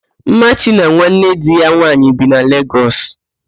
Mmachi na nwanne di ya nwaanyị bi na Legọs